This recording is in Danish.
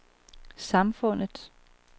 samfundets